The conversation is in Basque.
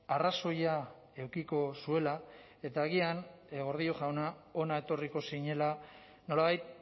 arrazoia edukiko zuela eta agian gordillo jauna hona etorriko zinela nolabait